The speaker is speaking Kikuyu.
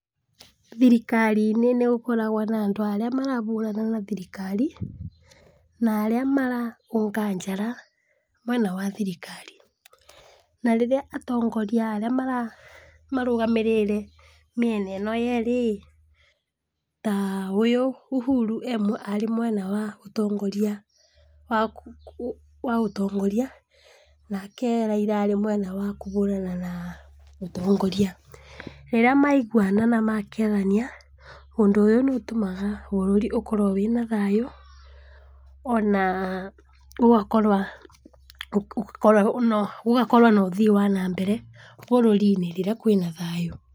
Thirikari inĩ nĩgũkoragwa na andũ arĩa marahũrana na thirikari, na arĩa maraũnga njara mwena wa thirikari, na rĩrĩa atongoria arĩa marũgamĩrĩre mĩena ĩrĩa yerĩ ĩ, ta ũyũ Uhuru arĩ mwena wa ũtongoria, nake Raila arĩ mwena wa kũhũrana na ũtongoria, rĩrĩa maiguana na makethania, ũndũ ũyũ nĩũtũmaga bũrũri ũkorwe wĩna thayũ, ona gũgakorwo na ũthii wana mbere bũrĩri-inĩ rĩrĩa kwĩna thayũ.